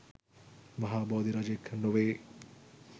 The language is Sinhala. මහා බෝධිරාජයෙක් නොවේ.